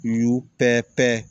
N y'u pɛ pɛ